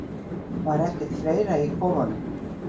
Var ekkert fleira í kofunum?